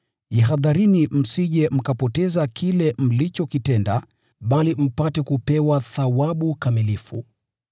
Jihadharini msije mkapoteza kile mlichokitenda, bali mpate kupewa thawabu kamilifu.